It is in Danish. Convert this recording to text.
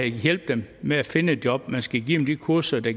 hjælpe dem med at finde et job man skal give dem de kurser der